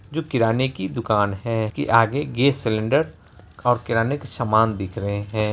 जो कि किराने कि दुकान है कि आगे गैस सिलिन्डर और किराने के सामान दिख रहे हैं।